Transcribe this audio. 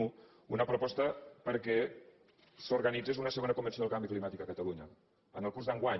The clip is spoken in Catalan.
una proposta perquè s’organitzés una segona convenció del canvi climàtic a catalunya en el curs d’enguany